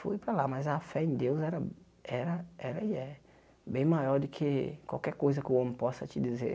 Fui para lá, mas a fé em Deus era era era e é. Bem maior do que qualquer coisa que o homem possa te dizer.